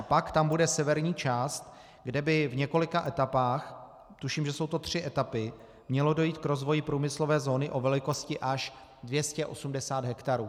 A pak tam bude severní část, kde by v několika etapách, tuším, že jsou to tři etapy, mělo dojít k rozvoji průmyslové zóny o velikosti až 280 hektarů.